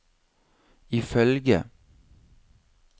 ifølge